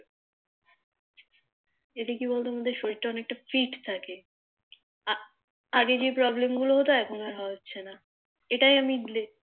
এটা কি বলতো আমাদের শরীর টা অনেকটাই Fit থাকে আগে যে Problem গুলো হতো এখন আর হচ্ছে না এটাই আমি